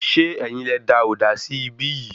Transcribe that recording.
Ṣe ẹ́yin lẹ da òdà sí ibi yìí?